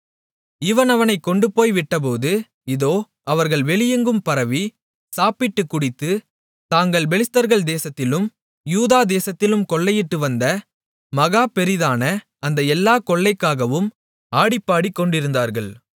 இவன் அவனைக் கொண்டுபோய்விட்டபோது இதோ அவர்கள் வெளியெங்கும் பரவி சாப்பிட்டுக் குடித்து தாங்கள் பெலிஸ்தர்கள் தேசத்திலும் யூதாதேசத்திலும் கொள்ளையிட்டு வந்த மகா பெரிதான அந்த எல்லாக் கொள்ளைக்காகவும் ஆடிப்பாடிக்கொண்டிருந்தார்கள்